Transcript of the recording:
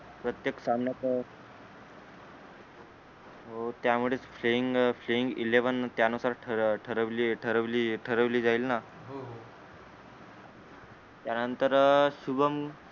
प्रत्येक सामना तर हो त्यामुळेच playing playing eleven त्यानुसार ठरव ठरवली ठरवली ठरवली जाईल ना त्यानंतर अं शुभमन